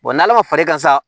n'ala ma far'i kan sa